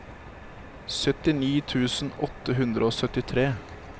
syttini tusen åtte hundre og syttitre